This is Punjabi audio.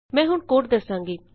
ਮੈਂ ਹੁਣ ਕੋਡ ਦਸਾਂਗੀ